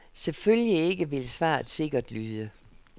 Selvfølgelig ikke, vil svaret sikkert lyde.